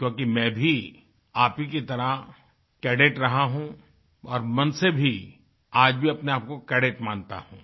क्योंकि मैं भी आप ही की तरह कैडेट रहा हूँ और मन से भी आज भी अपने आपको कैडेट मानता हूँ